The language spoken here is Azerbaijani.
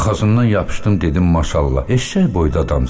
Yaxasından yapışdım, dedim maşallah, eşşək boyda adamsan.